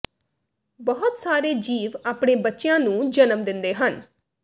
ਬਹੁਤ ਸਾਰੇ ਜੀਵ ਆਪਣੇ ਬੱਚਿਆਂ ਨੂੰ ਜਨਮ ਦਿੰਦੇ ਹਨ